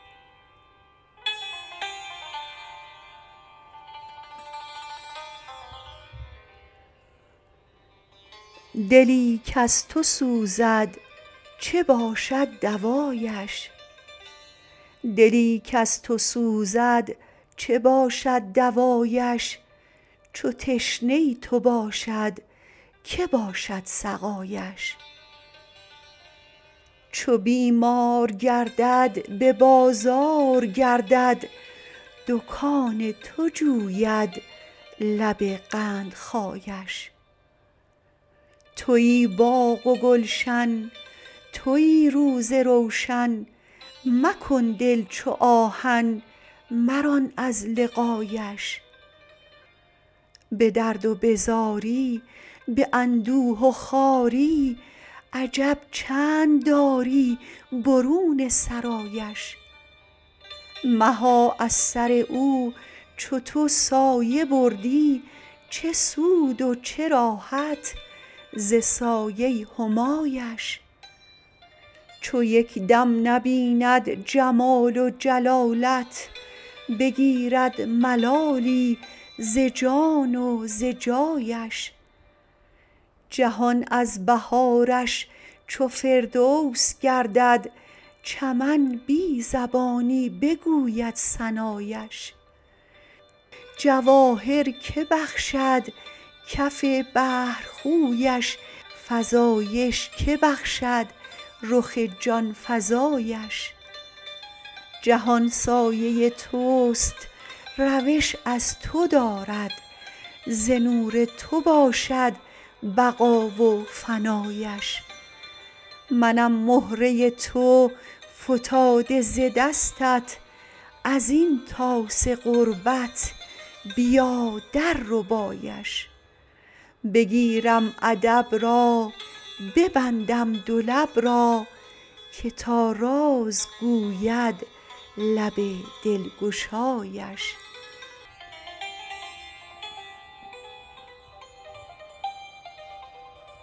دلی کز تو سوزد چه باشد دوایش چو تشنه تو باشد که باشد سقایش چو بیمار گردد به بازار گردد دکان تو جوید لب قندخایش توی باغ و گلشن توی روز روشن مکن دل چو آهن مران از لقایش به درد و به زاری به اندوه و خواری عجب چند داری برون سرایش مها از سر او چو تو سایه بردی چه سود و چه راحت ز سایه همایش چو یک دم نبیند جمال و جلالت بگیرد ملالی ز جان و ز جایش جهان از بهارش چو فردوس گردد چمن بی زبانی بگوید ثنایش جواهر که بخشد کف بحر خویش فزایش که بخشد رخ جان فزایش جهان سایه توست روش از تو دارد ز نور تو باشد بقا و فنایش منم مهره تو فتاده ز دستت از این طاس غربت بیا درربایش بگیرم ادب را ببندم دو لب را که تا راز گوید لب دلگشایش